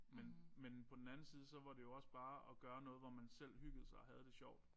Men men på den anden side så var det jo også bare at gøre noget hvor man selv hyggede sig og havde det sjovt